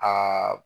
Aa